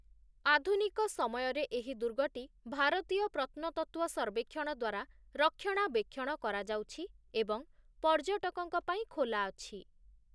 ଆଧୁନିକ ସମୟରେ ଏହି ଦୁର୍ଗଟି ଭାରତୀୟ ପ୍ରତ୍ନତତ୍ତ୍ୱ ସର୍ବେକ୍ଷଣ ଦ୍ୱାରା ରକ୍ଷଣାବେକ୍ଷଣ କରାଯାଉଛି ଏବଂ ପର୍ଯ୍ୟଟକଙ୍କ ପାଇଁ ଖୋଲା ଅଛି ।